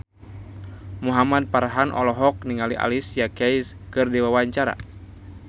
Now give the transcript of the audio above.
Muhamad Farhan olohok ningali Alicia Keys keur diwawancara